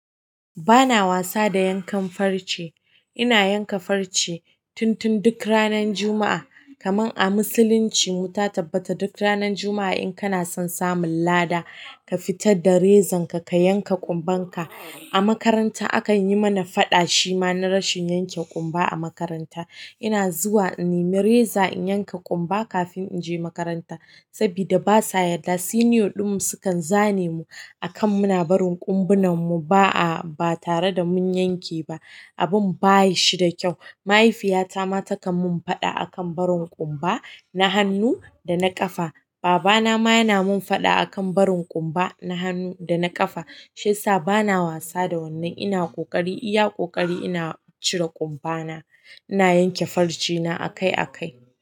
Ba na wasa da yankan farce. Ina yanka farce tun tun duk ranan Juma'a. Kaman a musulunci, mu ta tabbata duk ranan Juma'a in kana son samun lada, ka fitar da rezan ka, ka yanka ƙumban ka. A makaranta akan yi mana faɗa shi ma na rashin yanke ƙumba a makaranta. Ina zuwa in nemi reza in yanka kunba kafin inje makaranta sabida ba sa yadda, siniyo ɗin mu su kan zane mu a kan muna barin ƙumbunan mu ba a, ba tare da mun yanke ba. Abun ba shi da kyau. Mahaifiyata ma takan mun faɗa akan barin ƙumba na hannu da na ƙafa. Baba na ma yana mun faɗa akan barin ƙumba na hannu da na ƙafa. Shan sa bana wasa da wannan. Ina ƙoƙari iya ƙoƙari ina cire ƙumba na. Ina yanke farce na akai akai.